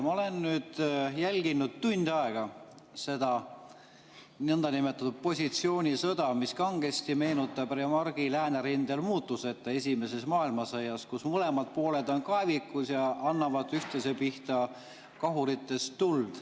Ma olen nüüd jälginud tund aega seda nõndanimetatud positsioonisõda, mis kangesti meenutab Remarque'i "Läänerindel muutuseta", esimest maailmasõda: mõlemad pooled on kaevikus ja annavad üksteise pihta kahuritest tuld.